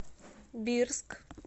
бирск